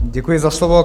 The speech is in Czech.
Děkuji za slovo.